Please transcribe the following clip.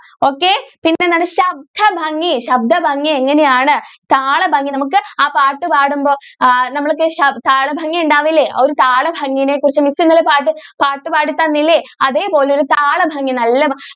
okay പിന്നെ എന്താണ് ശബ്ദ ഭംഗി ശബ്‌ദ ഭംഗി എങ്ങനെ ആണ് താള ഭംഗി നമുക്ക് ആ പാട്ട് പാടുമ്പോൾ ആ താള ഭംഗി ഉണ്ടാവില്ലേ ആ താള ഭംഗിനെ കുറിച്ച് mi ഇന്നലെ പാട്ട് പാടി തന്നില്ലേ അതേപോലെ താള ഭംഗി.